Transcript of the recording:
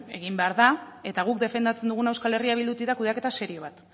egin behar da eta guk defendatzen duguna euskal herria bildutik da kudeaketa serio bat